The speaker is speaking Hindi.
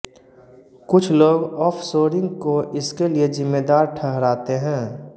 कुछ लोग ऑफ़शोरिंग को इसके लिए ज़िम्मेदार ठहराते हैं